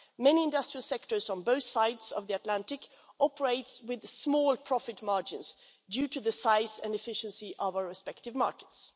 Many industrial sectors on both sides of the Atlantic operate with small profit margins due to the size and efficiency of our respective markets.